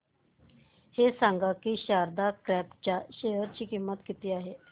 हे सांगा की शारदा क्रॉप च्या शेअर ची किंमत किती आहे